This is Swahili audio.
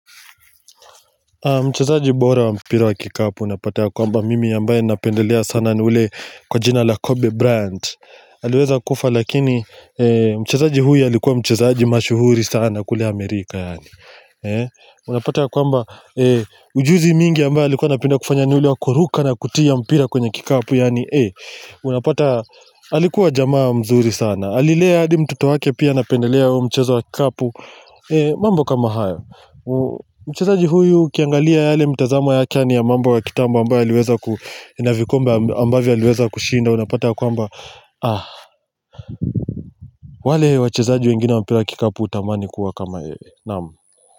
Mchezaaji bora wa mpira wa kikapu unapata ya kwamba mimi ambaye napendelea sana ni ule kwa jina la Kobe Bryant Haliweza kufa lakini mchezaaji huyo alikuwa mchezaaji mashuhuri sana kule Amerika Unapata ya kwamba ujuzi mingi ambaye alikuwa anapenda kufanya ni ule wakuruka na kutia mpira kwenye kikapu Unapata alikuwa jamaa mzuri sana Alilea hadi mtoto wake pia anapendelea mchezo wa kikapu mambo kama haya Mchezaji huyu ukiangalia yale mtazamo yake ni ya mambo wa kitambo ambayo yaliweza kushinda unapata ya kwamba Ah, wale wachezaji wengine wa mpira kikapu utamani kuwa kama yeye naam.